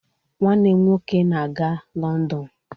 Nwanne m nwoke na-aga London